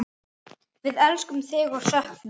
Við elskum þig og söknum.